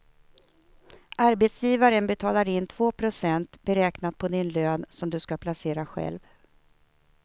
Arbetsgivaren betalar in två procent beräknat på din lön som du ska placera själv.